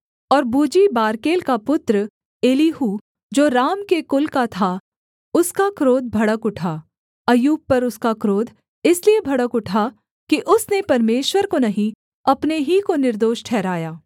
और बूजी बारकेल का पुत्र एलीहू जो राम के कुल का था उसका क्रोध भड़क उठा अय्यूब पर उसका क्रोध इसलिए भड़क उठा कि उसने परमेश्वर को नहीं अपने ही को निर्दोष ठहराया